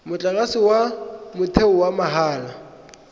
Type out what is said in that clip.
motlakase wa motheo wa mahala